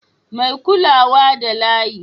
Mai kulawa da layi